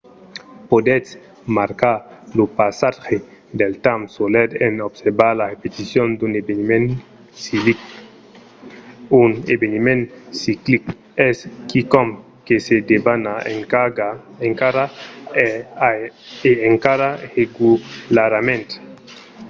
podètz marcar lo passatge del temps solet en observar la repeticion d’un eveniment ciclic. un eveniment ciclic es quicòm que se debana encara e encara regularament